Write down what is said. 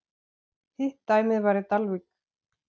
Hitt dæmið var í Dalvík.